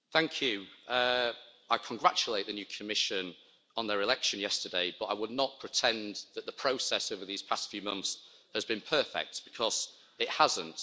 Madam President, I congratulate the new Commission on their election yesterday, but I would not pretend that the process over these past few months has been perfect, because it hasn't.